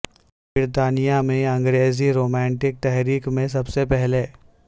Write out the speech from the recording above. برطانیہ میں انگریزی رومانٹک تحریک میں سب سے پہلے